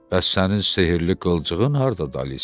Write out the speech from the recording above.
Bəs sənin sehirli qılcığın hardadır Alisa?